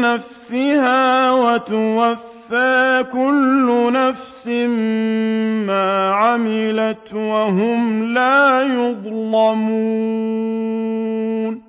نَّفْسِهَا وَتُوَفَّىٰ كُلُّ نَفْسٍ مَّا عَمِلَتْ وَهُمْ لَا يُظْلَمُونَ